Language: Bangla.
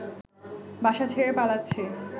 বাসা ছেড়ে পালাচ্ছে